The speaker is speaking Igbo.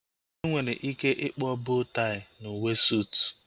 Enwere ike ịkpọọ boo tai n'uwe sootu